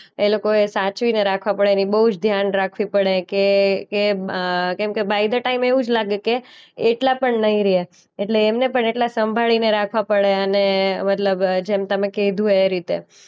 એ લોકોએ સાચવીને રાખવા પડે ને બોઉ જ ધ્યાન રાખવી પડે કે કે અ કેમકે બાય દ્ ટાઈમ એવું જ લાગે કે એટલા પણ નઈ રહ્યા. એટલે એમને પણ એટલા સંભાળીને રાખવા પડે અને મતલબ જેમ તમે કીધું એ રીતે